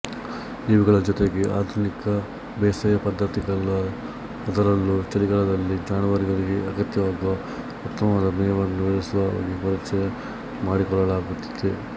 ಇವುಗಳ ಜೊತೆಗೆ ಆಧುನಿಕ ಬೇಸಾಯ ಪದ್ಧತಿಗಳಅದರಲ್ಲೂ ಚಳಿಗಾಲದಲ್ಲಿ ಜಾನುವಾರುಗಳಿಗೆ ಅಗತ್ಯವಾಗುವ ಉತ್ತಮವಾದ ಮೇವನ್ನು ಬೆಳೆಸುವ ಬಗ್ಗೆಪರಿಚಯ ಮಾಡಿಕೊಡಲಾಗುತ್ತಿದೆ